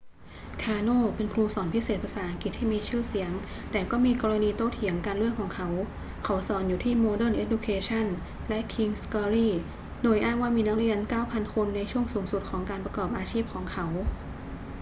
คาร์โน เป็นครูสอนพิเศษภาษาอังกฤษที่มีชื่อเสียงแต่ก็มีกรณีโต้เถียงกันเรื่องเขา เขาสอนอยู่ที่ modern education และ king's glory โดยอ้างว่ามีนักเรียน 9,000 คนในช่วงสูงสุดของการประกอบอาชีพของเขา